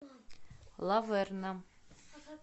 лаверна